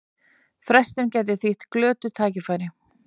Frestun gæti þýtt glötuð tækifæri